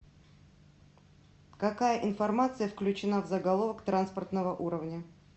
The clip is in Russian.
какая информация включена в заголовок транспортного уровня